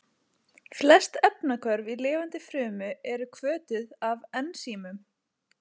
Flest efnahvörf í lifandi frumu eru hvötuð af ensímum.